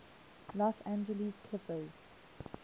los angeles clippers